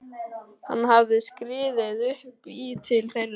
Hún hafði skriðið upp í til þeirra.